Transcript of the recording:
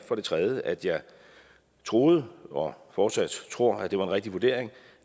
for det tredje ja at jeg troede og fortsat tror at det var en rigtig vurdering